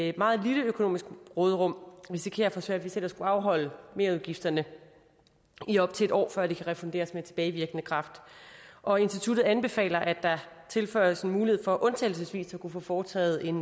et meget lille økonomisk råderum risikerer at få svært ved selv at skulle afholde merudgifterne i op til en år før de kan refunderes med tilbagevirkende kraft og instituttet anbefaler at der tilføjes en mulighed for undtagelsesvis at kunne få foretaget en